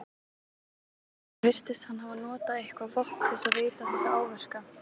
Andri: Virtist hann hafa notað eitthvað vopn til þess að veita þessa áverka?